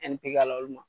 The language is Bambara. pikiri olu ma